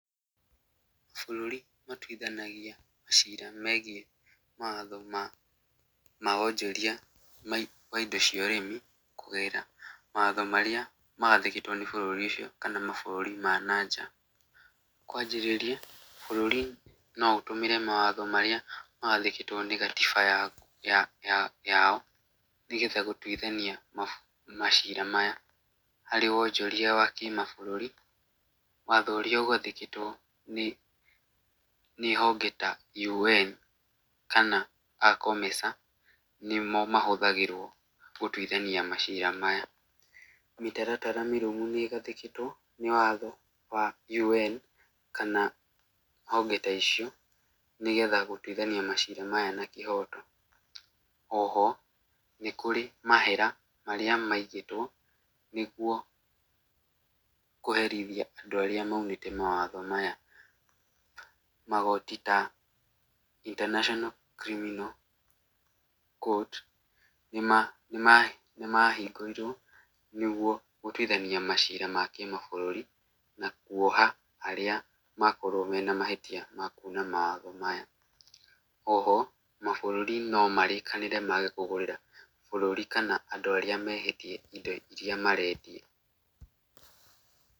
Bũrũri matuithanagia maciira megiĩ mawatho ma wonjoria ma indo cia ũrĩmi kũgerera mawatho marĩa magathĩkĩtũo nĩ bũrũri ũcio kana mabũrũri ma na nja. Kwanjĩrĩria, bũrũri no ũtũmĩre mawatho marĩa magathĩkĩtũo nĩ gatiba yao nĩgetha gũtuithania maciira maya. Harĩ wonjoria wa kĩmabũrũri, watho ũrĩa ũgathĩkĩtũo nĩ honge ta UN, kana aa COMESA, nĩmo mahũthagĩrũo gũtuithania maciira maya. Mĩtaratara mĩrũmu nĩ ĩgathĩkĩtwo nĩ watho wa UN kana honge ta icio, nĩgetha gũtuithania maciira maya na kĩhoto. Oho, nĩ kũrĩ mahera marĩa maigĩtũo nĩguo kũherithia andũ aria maunĩte mawatho maya. Magoti ta, International Criminal Court, nĩmahingũrirũo nĩguo gũtuithania maciira ma kĩmabũrũri na kuoha arĩa makorwo marĩ na mahĩtia ma kuna mawatho maya. Oho, mabũrũri nomarĩkanĩre maage kũgũrĩra bũrũri kana andũ arĩa mehĩtie indo iria marendia.